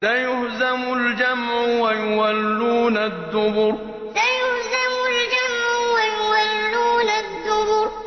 سَيُهْزَمُ الْجَمْعُ وَيُوَلُّونَ الدُّبُرَ سَيُهْزَمُ الْجَمْعُ وَيُوَلُّونَ الدُّبُرَ